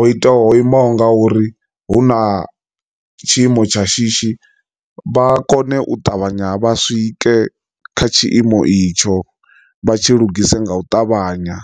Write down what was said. o iteaho imaho nga uri hu na tshiimo tsha shishi vha kone u ṱavhanya vha swike kha tshiimo itsho vha tshi lugise nga u ṱavhanya.